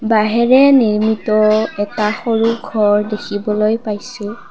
বাঁহেৰে নিৰ্মিত এটা সৰু ঘৰ দেখিবলৈ পাইছোঁ।